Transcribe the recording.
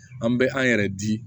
An bɛ an yɛrɛ di